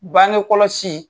Bangekɔlɔsi